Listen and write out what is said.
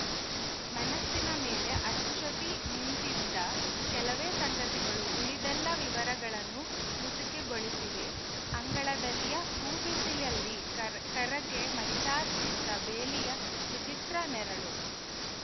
ಮನಸ್ಸಿನ ಮೇಲೆ ಅಚ್ಚೊತ್ತಿ ನಿಂತಂತಿದ್ದ ಕೆಲವೇ ಸಂಗತಿಗಳು ಉಳಿದೆಲ್ಲ ವಿವರಗಳನ್ನು ಮಸುಕುಗೊಳಿಸಿವೆ ಅಂಗಳದಲ್ಲಿಯ ಹೂಬಿಸಿಲಲ್ಲಿ ಕರ್ರಗೆ ಮೈಚಾಚಿದ್ದ ಬೇಲಿಯ ವಿಚಿತ್ರ ನೆರಳು